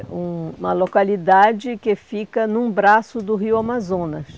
É uma localidade que fica num braço do rio Amazonas.